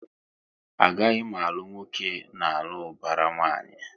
A gaghị m alụ nwoke n'alu ubara nwanyi!